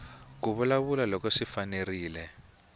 ku vulavula loko swi fanerile